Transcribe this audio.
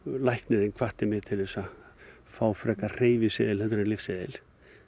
læknirinn hvatti mig til þess að fá frekar hreyfiseðil heldur en lyfseðil